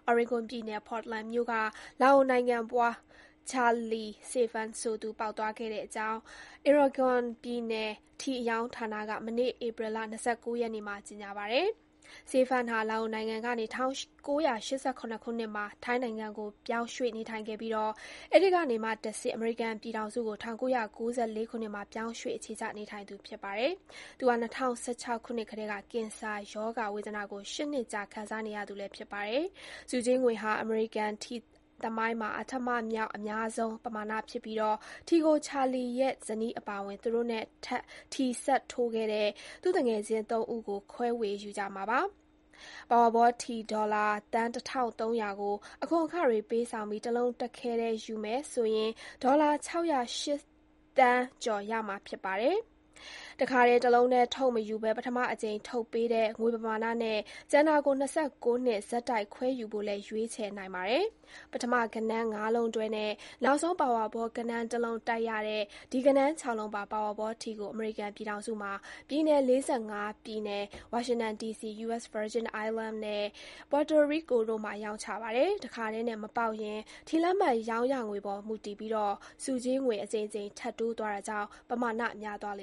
Oregon ပြည်နယ် Portland မြို့က Charlie Saephan ဆိုသူ ပေါက်သွားတဲ့အကြောင်း Oregon ပြည်နယ် ထီအရောင်းဌာနက မနေ့က ကြေညာပါတယ်။ Saephan ဟာ လာအိုနိုင်ငံကနေ ၁၉၈၇ ခုနှစ်မှာ ထိုင်းနိုင်ငံကို ပြောင်းရွေ့နေထိုင်ခဲ့ပြီး ထိုင်းနိုင်ငံကနေ အမေရိကန်ပြည်ထောင်စုကို ၁၉၉၄ ခုနှစ်မှာ ပြောင်းရွှေ့လာသူ ဖြစ်ပါတယ်။ ၂၀၁၆ ခုနှစ်ကတည်းက ကင်ဆာရောဂါဝေဒနာကို ရှစ်နှစ်ကြာ ခံစားနေရသူလည်း ဖြစ်ပါတယ်။ ဆုကြေးငွေဟာ အမေရိကန် ထီသမိုင်းမှာ အဋ္ဌမမြောက် အများဆုံး ပမာဏဖြစ်ပြီး ထီကို Charlie ရဲ့ ဇနီး Duapen နဲ့ ထီစပ်ထိုးတဲ့ သူ့ သူငယ်ချင်း Laiza တို့ သုံးယောက် ခွဲယူမှာ ဖြစ်ပါတယ်။ Powerball ထီ ဒေါ်လာ သန်းတထောင်သုံးရာ ပေါက်တဲ့အတွက် တလုံးတည်း တခဲတည်း ယူမယ်ဆိုရင် ဒေါ်လာ ခြောက်ရာ့ ရှစ်သန်း ကျော် ရရှိပါလိမ့်မယ်။ တခါတည်း ထုတ်တာမျိုး မယူချင်ရင် ပထမအကြိမ် ပေးငွေနဲ့ ၂၉ နှစ် ဆက်တိုက်ပေးတာကို ယူဖို့ ရွေးချယ်နိုင်ပါတယ်။ ဂဏန်းခြောက်လုံးနဲ့ ပင်မ Powerball ဂဏန်းတလုံးကို တိုက်ရတဲ့ Powerball ထီကို အမေရိကန်ပြည်ထောင်စုမှာ ပြည်နယ် လေးဆယ့်ငါးပြည်နယ်၊ ဝါရှင်တန် ဒီစီ၊ U.S Virgin Islands နဲ့ Puerto Rico တို့မှာ ရောင်းချပါတယ်။ တခါတည်းနဲ့ မပေါက်ရင် ထီလက်မှတ်ရောင်းရငွေပေါ်မူတည်ပြီး ဆုကြေးငွေ ထပ်တိုးသွားတာကြောင့် ပမာဏများသွားလ